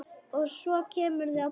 Og svo kemurðu að borða!